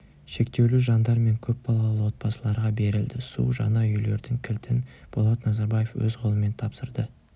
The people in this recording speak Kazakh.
шектеулі жандар мен көпбалалы отбасыларға берілді су жаңа үйлердің кілтін болат назарбаев өз қолымен тапсырды